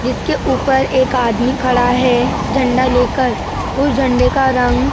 जिसके ऊपर एक आदमी खड़ा हैं झंडा लेकर उस झंडे का रंग --